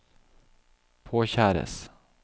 påkjæres